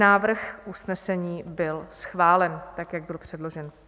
Návrh usnesení byl schválen tak, jak byl předložen.